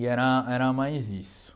E era era mais isso.